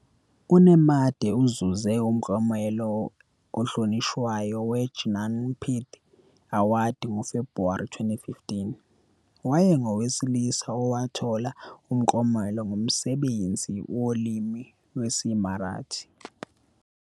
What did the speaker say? UNemade uzuze umklomelo ohlonishwayo weJnanpith Award ngoFebhuwari 2015. Wayengowesine owathola umklomelo ngomsebenzi wolimi lwesiMarathi.